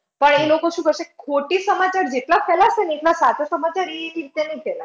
પણ ઈ લોકો શું કરશે ખોટી સમાચાર જેટલા ખરાબ છે ને એટલા સાચા સમાચાર ઈ રીતે ના ફેલાય.